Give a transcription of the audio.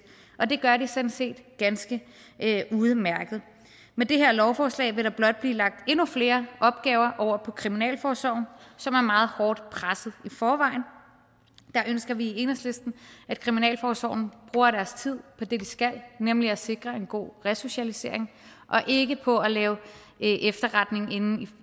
og det gør de sådan set ganske udmærket med det her lovforslag vil der blot blive lagt endnu flere opgaver over på kriminalforsorgen som er meget hårdt presset i forvejen der ønsker vi i enhedslisten at kriminalforsorgen bruger deres tid på det de skal nemlig at sikre en god resocialisering og ikke på at lave efterretning inde